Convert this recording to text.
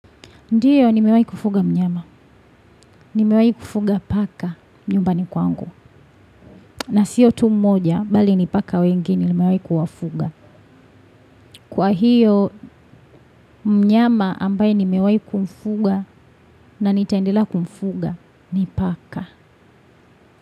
Ndiyo nimewai kufuga mnyama. Nimewai kufuga paka nyumbani kwangu. Na siyo tu mmoja bali ni paka wengine nimewai kuwafuga. Kwa hiyo mnyama ambaye nimewai kufuga na nitaendelea kumfuga ni paka.